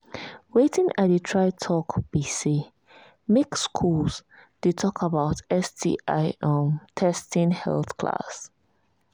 watin i they try talk be say make school they talk about sti um testing health class